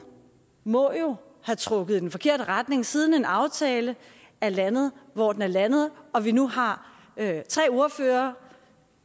må jo have trukket i den forkerte retning siden en aftale er landet hvor den er landet når vi nu har tre ordførere